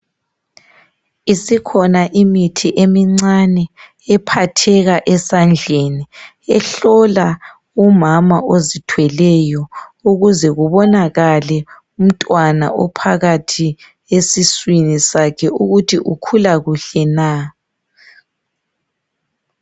Isikhona imithi emincane, ephatheka esandleni. Ehlola umama ozithweleyo ukuze kubonakale umntwana ophakathi esiswini sakhe ukuthi ukhula kuhle na.